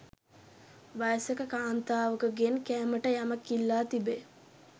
වයසක කාන්තාවකගෙන් කෑමට යමක් ඉල්ලා තිබේ.